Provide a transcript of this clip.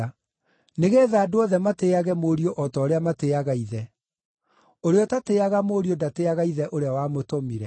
nĩgeetha andũ othe matĩĩage Mũriũ o ta ũrĩa matĩĩaga Ithe. Ũrĩa ũtatĩĩaga Mũriũ ndatĩĩaga Ithe ũrĩa wamũtũmire.